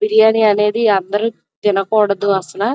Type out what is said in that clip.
బిర్యానీ అనేది అందరూ తినకూడదు అసల --